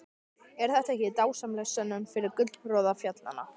Er þetta ekki dásamleg sönnun fyrir gullroða fjallanna?